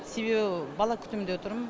себебі бала күтімінде отырмын